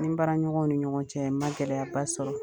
Ni baara ɲɔgɔnw ni ɲɔgɔn cɛ n ma gɛlɛyaba sɔrɔ